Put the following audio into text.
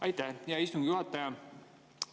Aitäh, hea istungi juhataja!